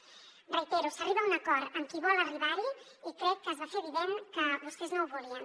ho reitero s’arriba a un acord amb qui vol arribar hi i crec que es va fer evident que vostès no ho volien